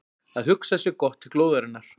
Að hugsa sér gott til glóðarinnar